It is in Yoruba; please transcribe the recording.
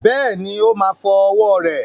Bẹ́ẹ̀ni,o má fọ́ ọwọ́ rẹ̀